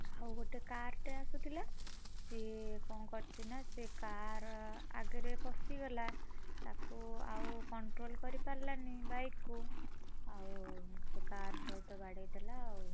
ଆଉଗୋଟେ car ଟେ ଆସୁଥିଲା, ସିଏ କଣ କରିଛି ନା ସେ car ଆଗରେ ପଶିଗଲା ତାକୁ ଆଉ control କରିପାରିଲାନି bike କୁ, ଆଉ ସେ car ସହିତ ବାଡ଼େଇ ଦେଲା ଆଉ।